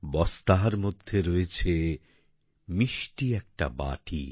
বস্তার মধ্যে রয়েছে মিষ্টি একটা বাটি